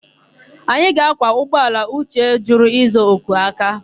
Anyị ga-ákwà ụgbọala Uche jụrụ ịza oku aka.